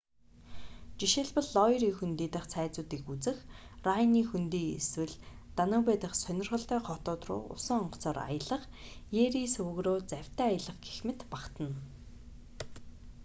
жишээлбэл лойри хөндий дахь цайзуудыг үзэх райнын хөндий эсвэл данубе дахь сонирхолтой хотууд руу усан онгоцоор аялах ерие суваг руу завьтай аялах гэх мэт багтана